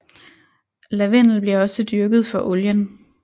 Lavendel bliver også dyrket for olien